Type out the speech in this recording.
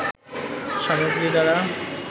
সামগ্রী দ্বারা